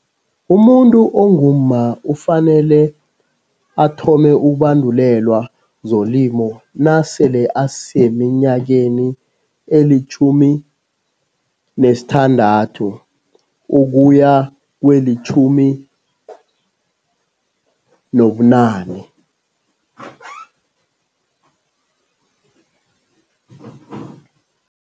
Umuntu ongumma ufanele athome ukubandulelwa zolimo nasele aseminyakeni elitjhumi nesithandathu ukuya kwelitjhumi nobunane.